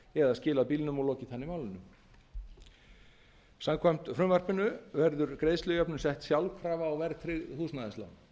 eða skilað bílnum og lokið þannig málinu samkvæmt frumvarpinu verður greiðslujöfnun sett sjálfkrafa á verðtryggð húsnæðislán